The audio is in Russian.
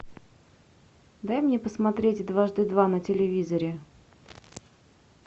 дай мне посмотреть дважды два на телевизоре